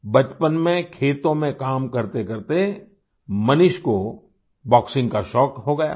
बचपन में खेतों में काम करतेकरते मनीष को बॉक्सिंग का शौक हो गया था